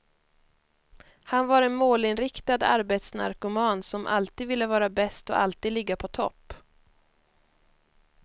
Han var en målinriktad, arbetsnarkoman som alltid ville vara bäst och alltid ligga på topp.